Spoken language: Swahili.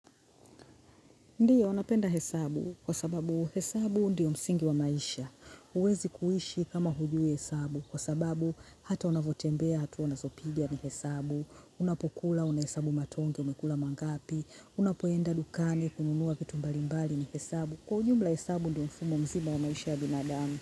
Ndiyo, napenda hesabu, kwa sababu hesabu ndiyo msingi wa maisha, huwezi kuishi kama hujui hesabu, kwa sababu hata unavyotembea hatua unazopiga ni hesabu, unapokula unahesabu matonge umekula mangapi, unapoenda dukani kununua kitu mbalimbali ni hesabu, kwa ujumla hesabu ndiyo mfumo mzima wa maisha ya binadamu.